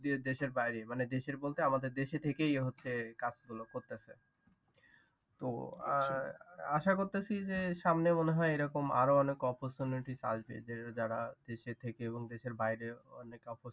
দেশের বাইরে, মানে দেশের বলতে আমাদের দেশে থেকেই হচ্ছে কাজ গুলো করতেছে ।তো আশা করতেছি যে সামনে মনে হয় এই রকম আরো অনেক opportunities আসবে। যারা দেশে থেকেও এবং দেশের বাহিরে অনেক